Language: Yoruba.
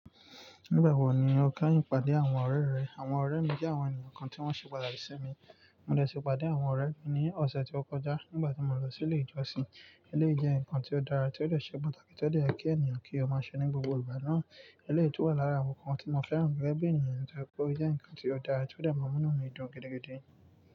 Nígbà wo ni o ka ìpàdé àwọn ọ̀rẹ́ rẹ? Àwọn ọ̀rẹ́ mi jẹ́ àwọn ènìyàn kan tí wọ́n ṣe pàtàkì sí mi. Mo de sí pàdé àwọn ọ̀rẹ́ mi ní ọ̀sẹ̀ tí ó kọjá nígbà tí mo lọ sí ilé ìjọsìn. Éléyì jẹ́ ǹkan tí ó dára tí ó de ṣe pàtàkì tí ó dè yẹ kí ènìyàn kí ó máa ṣe ní gbogbo ìgbà náà. Éléyì tú wa lára àwọn ǹkan tí mo fẹ́ràn gẹ́gẹ́ bí ènìyàn nítorí pé ó jẹ́ ǹkan tí ó dára tí ó de máa múnú mi dun gidigidi.